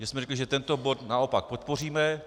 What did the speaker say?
My jsme řekli, že tento bod naopak podpoříme.